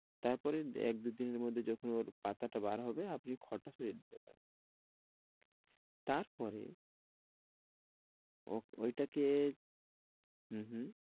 তারপরে এক দুদিনের মধ্যে যখন ওর পাতাটা বার হবে, আপনি খড়টা সরিয়ে দিতে পারেন। তারপরে ওহ ওইটাকে হুম হুম